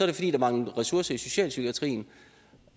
det fordi der mangler ressourcer i socialpsykiatrien